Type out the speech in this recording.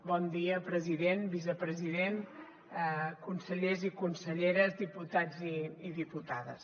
bon dia president vicepresident consellers i conselleres diputats i diputades